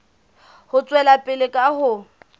ho tswela pele ka ho